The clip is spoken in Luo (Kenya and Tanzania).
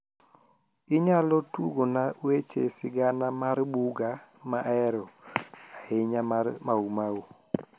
inyalo tugona weche sigana mar buga mahero ahinya mar mau mau